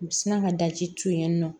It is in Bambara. U sinna ka daji to yen nɔ